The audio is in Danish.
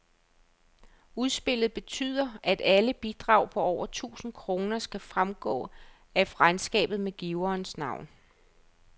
Udspillet betyder, at alle bidrag på over tusind kroner skal fremgå af regnskabet med giverens navn.